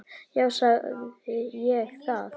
Já, sagði ég það?